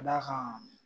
Ka d'a kan